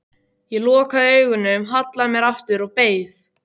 Ég lokaði augunum, hallaði mér aftur og beið.